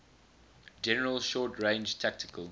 general short range tactical